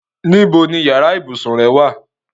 Níbo ni yàrá ibùsùn rẹ́ wà?